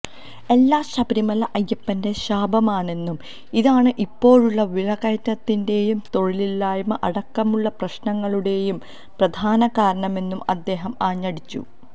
എല്ലാം ശബരിമല അയ്യപ്പന്റെ ശാപമാണെന്നും ഇതാണ് ഇപ്പോഴുള്ള വിലക്കയറ്റത്തിന്റെയും തൊഴിലില്ലായ്മ അടക്കമുള്ള പ്രശ്നങ്ങളുടെയും പ്രധാന കാരണമെന്നും അദ്ദേഹം ആഞ്ഞടിച്ചു